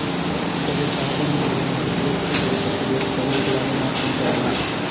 இத்தகைய சாதனங்கள் மறுசுழற்சி செய்யப்பட்டு வேறு கருவிகளாக மாற்றம் பெறலாம்